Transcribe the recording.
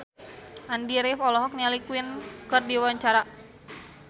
Andy rif olohok ningali Queen keur diwawancara